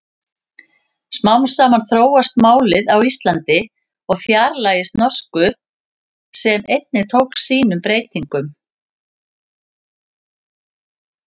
Smám saman þróast málið á Íslandi og fjarlægist norsku sem einnig tók sínum breytingum.